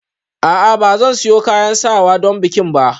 A'a ba zan sayo kayan sawa don bikin ba